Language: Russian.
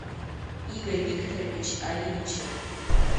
игорь викторович ариничев